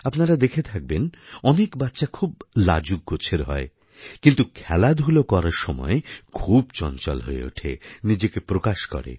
আপনারা দেখে থাকবেন অনেক বাচ্চা খুব লাজুক গোছের হয় কিন্তু খেলাধূলা করার সময় খুব চঞ্চল হয়ে ওঠে নিজেকে প্রকাশ করে